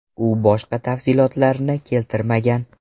U boshqa tafsilotlarni keltirmagan.